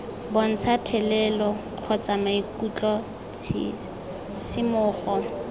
bontsha thelelo kgotsa maikutlo tshisimogo